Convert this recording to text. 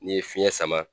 N'i ye fiɲɛ sama